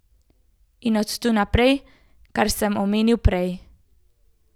In od tu naprej, kar sem omenil prej.